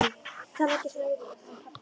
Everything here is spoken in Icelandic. Talaðu ekki svona við hann pabba þinn!